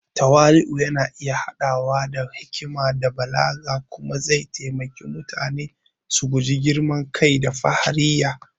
Tawali’u yana iya haɗawa da hikima da balaga kuma zai iya taimaka wa mutane su guji girman kai da fahariya.